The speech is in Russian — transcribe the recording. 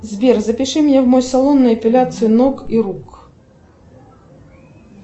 сбер запиши меня в мой салон на эпиляцию ног и рук